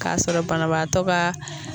K'a sɔrɔ banabaatɔ baa.